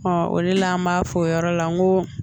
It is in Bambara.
o de la an b'a fɔ o yɔrɔ la n ko